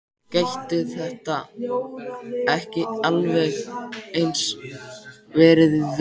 Gætu þetta ekki alveg eins verið viðgerðarmenn?